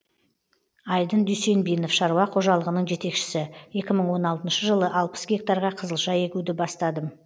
айдын дүйсенбинов шаруа қожалығының жетекшісі екі мың он алтыншы жылы алпыс гектарға қызылша егуді бастадым